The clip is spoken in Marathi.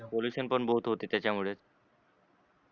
pollution बहोत होते. त्याच्यामुळे